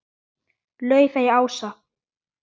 Laufey Ása.